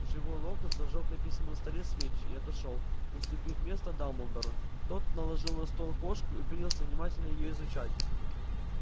живой локонс зажёг на письменном столе свечи и отошёл уступив место дамблдору тот положил на стол кошку и принялся внимательно её изучать